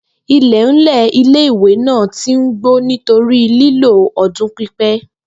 IIẹ̀nlẹ̀ ilé-ìwé náà ti n gbó nítorí lílò ọdún pípẹ́